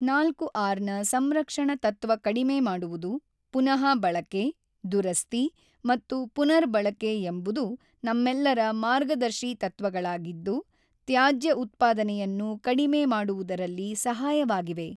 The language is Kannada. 4ಆರ್ ನ ಸಂರಕ್ಷಣ ತತ್ವ ಕಡಿಮೆ ಮಾಡುವುದು, ಪುನಃಬಳಕೆ, ದುರಸ್ತಿ ಮತ್ತು ಪುನರ್ ಬಳಕೆ ಎಂಬುದು ನಮ್ಮೆಲ್ಲರ ಮಾರ್ಗದರ್ಶಿ ತತ್ವಗಳಾಗಿದ್ದು ತ್ಯಾಜ್ಯ ಉತ್ಪಾದನೆಯನ್ನು ಕಡಿಮೆ ಮಾಡುವುದರಲ್ಲಿ ಸಹಾಯವಾಗಿವೆ.